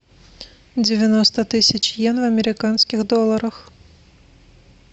девяносто тысяч йен в американских долларах